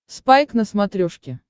спайк на смотрешке